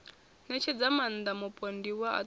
ṋetshedza maaṋda mupondiwa a ṱo